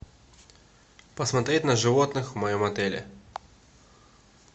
посмотреть на животных в моем отеле